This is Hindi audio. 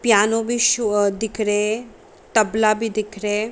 पिआनो भी शो अ दिख रहे हैं तबला भी दिख रए है |